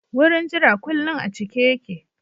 Wurin jira kullin a cike yake.